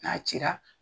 N'a cira